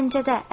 Gəncədə.